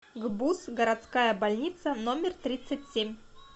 гбуз городская больница номер тридцать семь